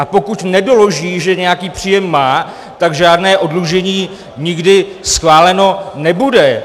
A pokud nedoloží, že nějaký příjem má, tak žádné oddlužení nikdy schváleno nebude.